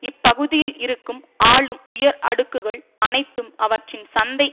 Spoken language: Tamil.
இப்பகுதியில் இருக்கும் ஆளும் உயர் அடுக்குகள் அனைத்தும் அவற்றின் சந்தை